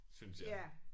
Synes jeg